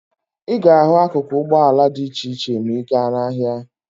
Ị ga-ahụ akuku ụgbọala dị iche iche ma ị ga n'ahịa.